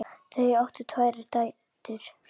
Þau áttu tvær dætur.